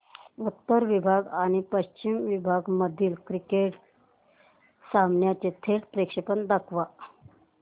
उत्तर विभाग आणि पश्चिम विभाग मधील क्रिकेट सामन्याचे थेट प्रक्षेपण दाखवा